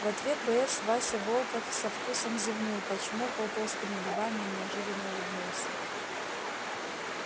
в ответ боец вася волков со вкусом зевнул почмокал толстыми губами и неожиданно улыбнулся